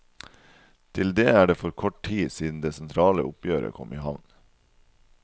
Til det er det for kort tid siden det sentrale oppgjøret kom i havn.